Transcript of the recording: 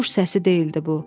Quş səsi deyildi bu.